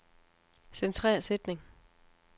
Centrer sætning.